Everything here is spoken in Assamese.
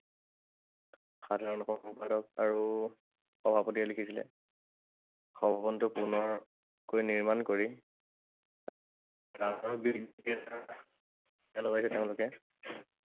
সাধাৰণ সম্পাদক আৰু সভাপতিয়ে লিখিছিলে, পুনৰকৈ নিৰ্মাণ কৰি তেওঁলোকে